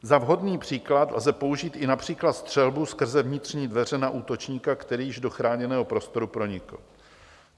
Za vhodný příklad lze použít i například střelbu skrze vnitřní dveře na útočníka, který již do chráněného prostoru pronikl.